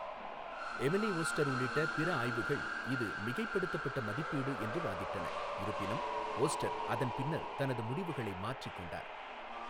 Emily Oster உள்ளிட்ட பிற ஆய்வுகள் இது மிகைப்படுத்தப்பட்ட மதிப்பீடு என்று வாதிட்டன, இருப்பினும் ஓஸ்டர் அதன் பின்னர் தனது முடிவுகளை மாற்றிக் கொண்டார்.